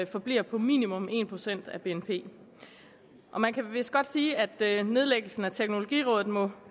forbliver på minimum en procent af bnp og man kan vist godt sige at nedlæggelsen af teknologirådet må